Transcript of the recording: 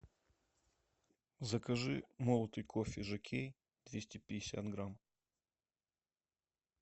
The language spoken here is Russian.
закажи молотый кофе жокей двести пятьдесят грамм